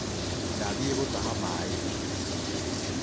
Ndathiĩ gũtaha maĩ.